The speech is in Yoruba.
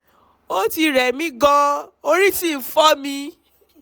ó ti rẹ̀ mí gan-an orí sì ń fọ́ mi